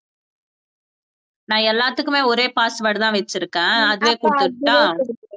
நான் எல்லாத்துக்குமே ஒரே password தான் வெச்சு இருக்கேன், அதுவே போட்டுடுட்டா?